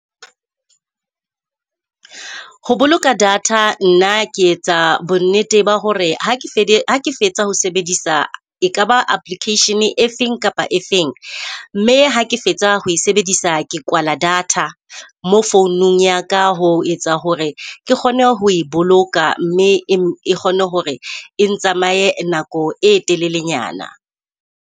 Ho boloka data nna ke etsa bonnete ba hore ha ke fetsa ho sebedisa ekaba application-e e feng kapa efeng, mme ha ke fetsa ho sebedisa ke kwala data mo founung ya ka. Ho etsa hore ke kgone ho e boloka, mme e kgone hore e ntsamaye nako e telelenyana.